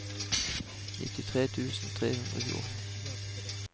nittitre tusen tre hundre og tjueåtte